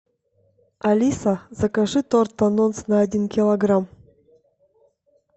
алиса закажи торт анонс на один килограмм